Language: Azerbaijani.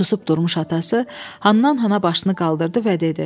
Susub durmuş atası hannan-hana başını qaldırdı və dedi: